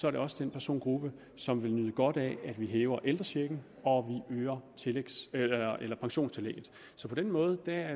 er det også den persongruppe som vil nyde godt af at vi hæver ældrechecken og øger pensionstillægget så på den måde